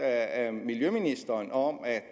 af miljøministeren om